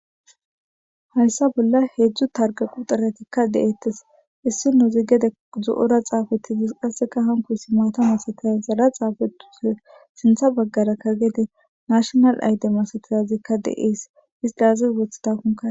Haysa bolla hedzdzu targa quxirerika deetes issi miye zo'ira xaffetides hary maththa malara xafethidesi sinththa bagar gede natinal ide makatizaysika dees